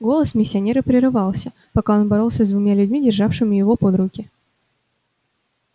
голос миссионера прерывался пока он боролся с двумя людьми державшими его под руки